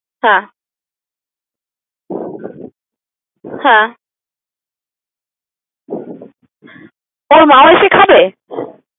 হ্যাঁ হ্যাঁ ওর মাও এসে খাবে?